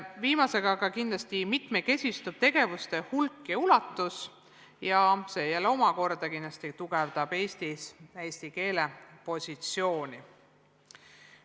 Viimasega koos kindlasti mitmekesistub asutuse tegevuste hulk ja ulatus ning see omakorda tugevdab eesti keele positsiooni Eesti riigis.